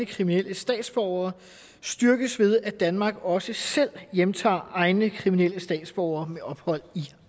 kriminelle statsborgere styrkes ved at danmark også selv hjemtager egne kriminelle statsborgere med ophold i